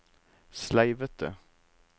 sleivete